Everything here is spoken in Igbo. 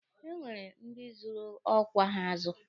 E nwere ndi zụrụ ọkwa ha azụ.